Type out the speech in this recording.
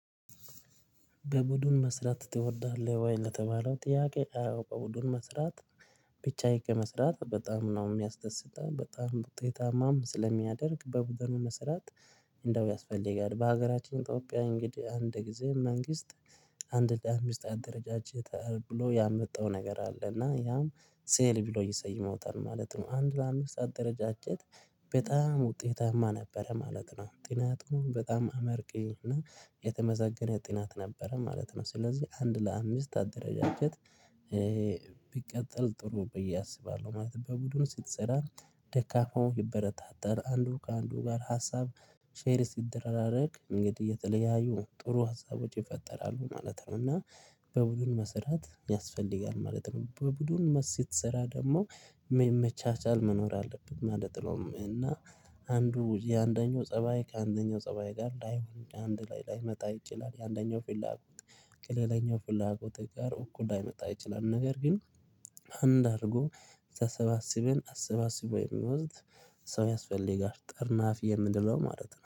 በቡድን መስራት ትወዳለህ ወይ ለተባለው ጥያቄ? አዎ በቡድን መስራት ብቻዬን ከመስራት በጣም ነው የሚያስደስተኛው በጣም ውጤታማ ስለሚያደርግ በቡድኑ መስራት። እንደው ያስፈልጋል በሀገራችን ኢትዮጵያ እንግዲህ አንድ ጊዜ መንግስት አንድ ለአምስት አንድ አደረጃጀት ብሎ ያመጣው ነገር አለ እና ያም ሴል ብሎ ይሰይመውታል ማለት ነው። አንድ ለአምስት አደረጃጀት በጣም ውጤታማ ነበረ ማለት ነው። ጥናቱን በጣም አመርቂ እና የተመሰገነ ጥናት ነበረ ማለት ነው። ስለዚህ አንድ ለአምስት አደረጃጀት። ቢቀጥል ጥሩ ብዬ አስባለሁ። ማለት በቡድኑ ስትሰራ ደካማው ይበረታታል አንዱ ከአንዱ ጋር ሀሳብ ሼር እንግዲህ እየተለያዩ ጥሩ ሀሳቦች ይፈጠራሉ ማለት ነው። እና በቡድን መስራት ያስፈልጋል ማለት ነው። በቡድኑ ስትስራ ደግሞ መቻቻል መኖር አለበት ማለት ነው። እና አንዱ የአንደኛው ፀባይ ከአንደኛው ፀባይ ጋር ላይሆን አንድ ላይ ላይመጣ ይችላል። የአንደኛው ፍላጎት ከሌላኛው ፍላጎት ጋር እኩል ላይመጣ ይችላል። ነገር ግን አንድ አድርጎ ተሰባስበን አሰባስቦ የሚወስድ ሰው ያስፈልጋል ጋር ጠርናፊ የምንለው ማለት ነው